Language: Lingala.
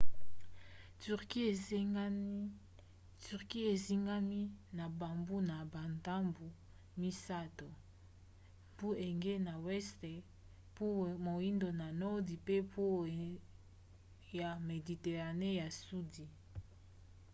turquie ezingami na bambu na bandambu misato: mbu égée na weste mbu moindo na nordi pe mbu ya mediterane na sudi